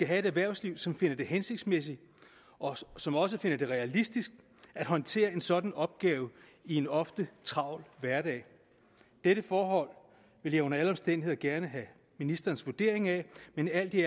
have et erhvervsliv som finder det hensigtsmæssigt og som også finder det realistisk at håndtere en sådan opgave i en ofte travl hverdag dette forhold vil jeg under alle omstændigheder gerne have ministerens vurdering af men alt i